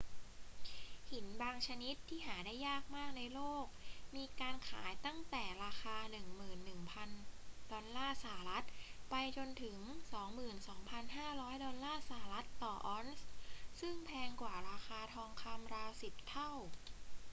หินบางชนิดที่หาได้ยากมากในโลก มีการขายตั้งแต่ราคา 11,000 ดอลลาร์สหรัฐไปจนถึง 22,500 ดอลลาร์สหรัฐต่อออนซ์ ซึ่งแพงกว่าราคาทองคำราวสิบเท่า